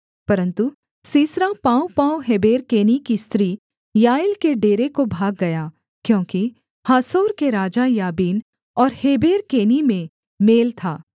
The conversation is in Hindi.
परन्तु सीसरा पाँवपाँव हेबेर केनी की स्त्री याएल के डेरे को भाग गया क्योंकि हासोर के राजा याबीन और हेबेर केनी में मेल था